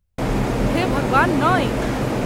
हे भगवान, नहि।